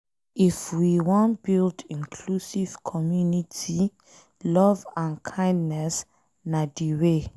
If we wan build inclusive community, love and kindness na de way.